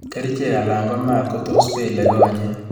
kerichek anan ko maat ko tos pel konyek.